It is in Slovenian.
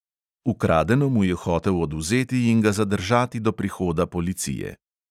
Ukradeno mu je hotel odvzeti in ga zadržati do prihoda policije.